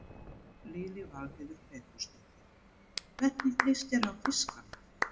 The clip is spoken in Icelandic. Lillý Valgerður Pétursdóttir: Hvernig líst þér á fiskana?